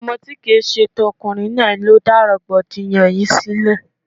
Ọmọ tí kìí ṣe ti ọkùnrin náà ló dá rọ̀gbọ̀dìyàn yìí sílẹ̀.